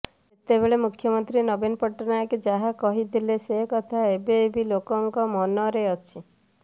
ସେତେବେଳେ ମୁଖ୍ୟମନ୍ତ୍ରୀ ନବୀନ ପଟ୍ଟନାୟକ ଯାହା କହିଥିଲେ ସେ କଥା ଏବେ ବି ଲୋକଙ୍କ ମନରେ ଅଛି